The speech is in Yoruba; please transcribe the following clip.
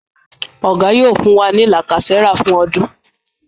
Oga yóò fún wá ní lacasera fún ọdún.